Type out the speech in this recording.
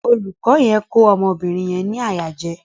Olùkọ yẹn ko ọmọ obìrin yẹn ni àyà jẹ.